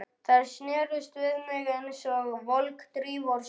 Þær snertust við mig einsog volg drífa úr snjó.